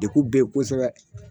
De kun bɛ yen kosɛbɛ.